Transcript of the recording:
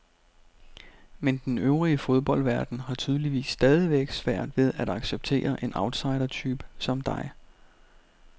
Men den øvrige fodboldverden har tydeligvis stadigvæk svært ved at acceptere en outsidertype som dig.